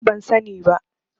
Ni ma ban sa ni ba